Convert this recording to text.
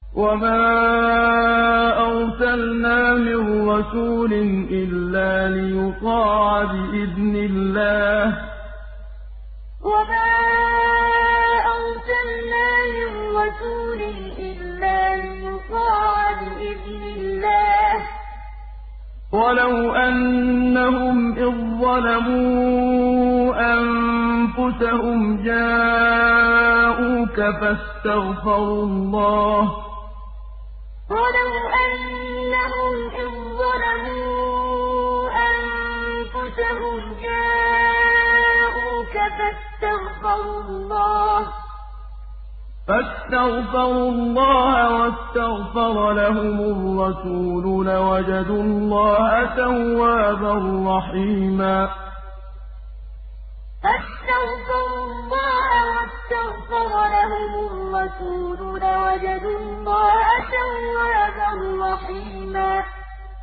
وَمَا أَرْسَلْنَا مِن رَّسُولٍ إِلَّا لِيُطَاعَ بِإِذْنِ اللَّهِ ۚ وَلَوْ أَنَّهُمْ إِذ ظَّلَمُوا أَنفُسَهُمْ جَاءُوكَ فَاسْتَغْفَرُوا اللَّهَ وَاسْتَغْفَرَ لَهُمُ الرَّسُولُ لَوَجَدُوا اللَّهَ تَوَّابًا رَّحِيمًا وَمَا أَرْسَلْنَا مِن رَّسُولٍ إِلَّا لِيُطَاعَ بِإِذْنِ اللَّهِ ۚ وَلَوْ أَنَّهُمْ إِذ ظَّلَمُوا أَنفُسَهُمْ جَاءُوكَ فَاسْتَغْفَرُوا اللَّهَ وَاسْتَغْفَرَ لَهُمُ الرَّسُولُ لَوَجَدُوا اللَّهَ تَوَّابًا رَّحِيمًا